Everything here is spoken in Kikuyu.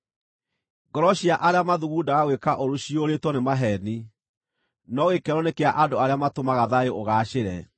Ngoro cia arĩa mathugundaga gwĩka ũũru ciyũrĩtwo nĩ maheeni, no gĩkeno nĩ kĩa andũ arĩa matũmaga thayũ ũgaacĩre.